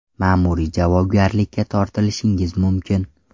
Ma’muriy javobgarlikka tortilishingiz mumkin.